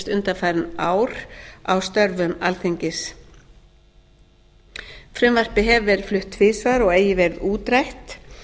undanfarin ár á störfum alþingis frumvarpið hefur verið flutt tvisvar og eigi verið útrætt